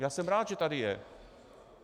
Já jsem rád, že tady je.